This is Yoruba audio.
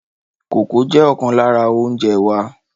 Kókò jẹ ọkan lára oúnjẹ wa.